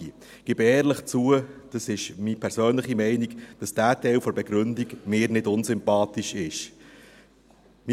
Ich gebe ehrlich zu, es ist meine persönliche Meinung, dass dieser Teil der Begründung mir nicht unsympathisch ist.